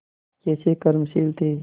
कैसे कर्मशील थे